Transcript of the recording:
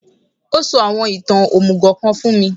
Ó sọ àwọn ìtàn òmùgò kan fún mi